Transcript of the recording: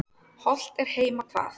Hollt er heima hvað.